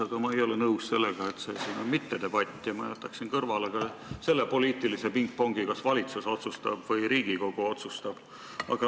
Aga ma ei ole nõus sellega, et see siin on mittedebatt, ja ma jätaksin kõrvale ka selle poliitilise pingpongi, kas otsustab valitsus või Riigikogu.